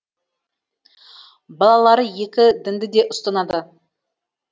балалары екі дінді де ұстанады